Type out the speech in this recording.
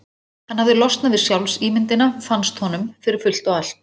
Hann hafði losnað við sjálfsímyndina, fannst honum, fyrir fullt og allt.